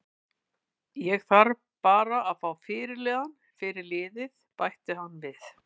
Ég þarf bara að fá fyrirliða fyrir liðið, bætti hann við.